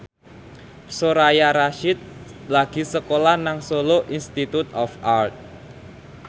Soraya Rasyid lagi sekolah nang Solo Institute of Art